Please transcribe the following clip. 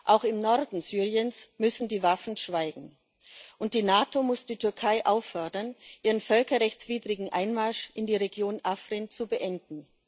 Auch im Norden Syriens müssen die Waffen schweigen, und die NATO muss die Türkei auffordern, ihren völkerrechtswidrigen Einmarsch in die Region Afrin zu beenden.